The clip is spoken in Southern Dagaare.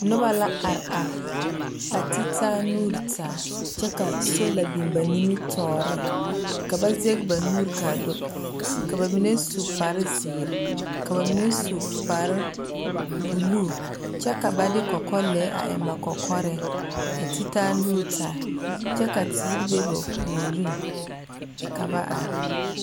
Noba la are are, a te taa nuuri taa kyԑ ka soola biŋ ba nimitͻͻreŋ. Ka ba zԑge ba nuuri ka a do ka ba mine su kpare zeere, ka ba mine su kpare buluu kyԑ ka ba de kͻkͻlԑԑ a eŋ ba kͻkͻrԑԑ. A te taa anuuri taa kyԑ ka teere be ba puoriŋ ka ba are.